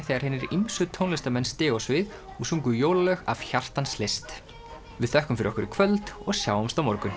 þegar hinir ýmsu tónlistarmenn stigu á svið og sungu jólalög af hjartans list við þökkum fyrir okkur í kvöld og sjáumst á morgun